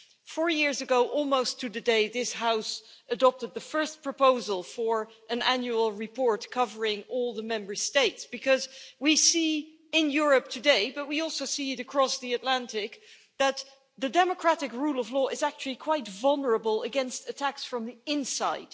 Four years ago, almost to the day, this House adopted the first proposal for an annual report covering all the Member States, because we see in Europe today but we also see it across the Atlantic that the democratic rule of law is actually quite vulnerable to attacks from the inside.